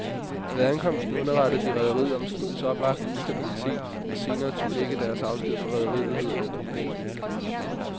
Ved ankomsten underrettede de rederiet om skibets oplagte ustabilitet og senere tog begge deres afsked fra rederiet, hedder det i rapporten.